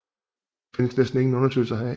Der findes næsten ingen undersøgelser heraf